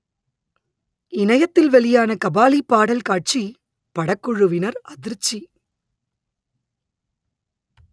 இணையத்தில் வெளியான கபாலி பாடல் காட்சி படக்குழுவினர் அதிர்ச்சி